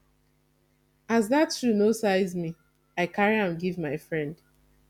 as dat shoe no size me i carry am give my friend